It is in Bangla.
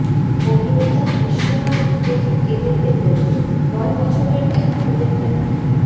অভিনেতা বিশ্বনাথকে দেখে কেঁদে ফেললেন নয় বছরের এক খুদে ফ্যান